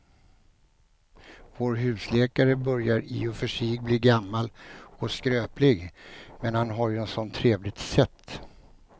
Vår husläkare börjar i och för sig bli gammal och skröplig, men han har ju ett sådant trevligt sätt!